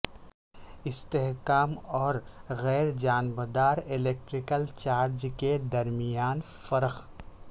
استحکام اور غیر جانبدار الیکٹریکل چارج کے درمیان فرق